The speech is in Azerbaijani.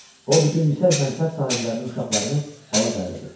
O bütün yüksək mənsəb sahiblərinin uşaqlarını bala dəvət etdi.